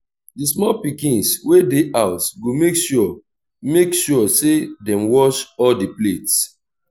di small pikins wey dey house go mek sure mek sure say dem wash all di plates